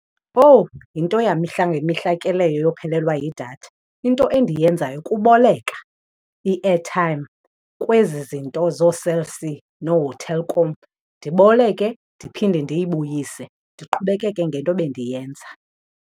Owu! Yinto yamihla ngemihla ke leyo yophelelwa yidatha. Into endiyenzayo kuboleka i-airtime kwezi zinto zooCell C nooTelkom. Ndiboleke ndiphinde ndiyibuyise, ndiqhubekeke ngento bendiyenza.